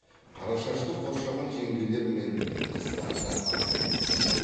қарашашты қоршаған жеңгелер мен қыздар да аз емес